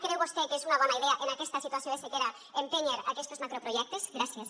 creu vostè que és una bona idea en aquesta situació de sequera empènyer aquestos macroprojectes gràcies